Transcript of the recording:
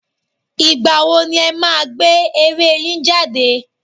Ìgbà wo ni ẹ máa gbé eré yín jáde